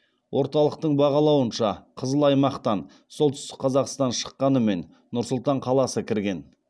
орталықтың бағалауынша қызыл аймақтан солтүстік қазақстан шыққанымен нұр сұлтан қаласы кірген